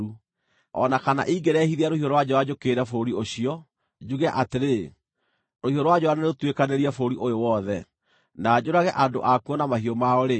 “O na kana ingĩrehithia rũhiũ rwa njora njũkĩrĩre bũrũri ũcio, njuge atĩrĩ, ‘Rũhiũ rwa njora nĩrũtuĩkanĩrie bũrũri ũyũ wothe,’ na njũrage andũ akuo na mahiũ mao-rĩ,